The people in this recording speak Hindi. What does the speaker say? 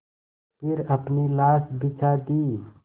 फिर अपनी लाश बिछा दी